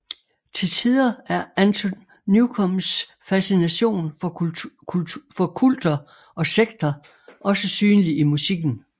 Til tider er Anton Newcombes fascination for kulter og sekter også synlig i musikken